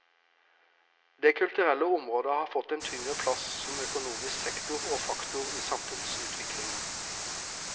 Det kulturelle området har fått en tyngre plass som økonomisk sektor og faktor i samfunnsutviklingen.